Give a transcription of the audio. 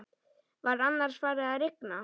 Var annars farið að rigna?